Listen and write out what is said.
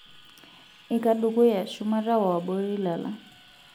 Iika dukuya, shumata o abori lala.